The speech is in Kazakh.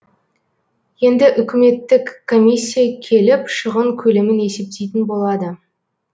енді үкіметтік комиссия келіп шығын көлемін есептейтін болады